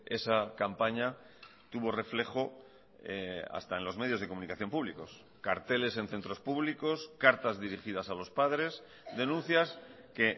esa campaña tuvo reflejo hasta en los medios de comunicación públicos carteles en centros públicos cartas dirigidas a los padres denuncias que